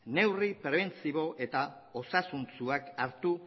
neurri prebentibo eta osasuntsuak hartu